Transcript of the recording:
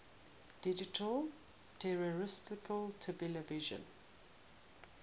digital terrestrial television